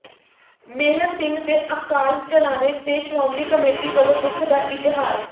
ਮੇਹਰ ਸਿੰਘ ਦੇ ਅਕਾਲ ਚਲਾਣੇ ਤੇ ਸ਼੍ਰੋਮਣੀ ਕਮੇਟੀ ਵਲੋਂ ਦੁੱਖ ਦਾ ਇਜ਼ਹਾਰ